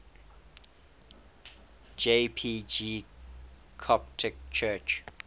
jpg coptic church